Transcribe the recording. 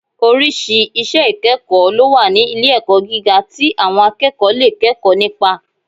Oríṣìí iṣẹ́ ìkẹ́kọ̀ọ́ lówà ní ilé-ẹ̀kọ́ gíga tí àwọn akẹ́kọ̀ọ́ lè kẹ́kọ̀ọ́ nípa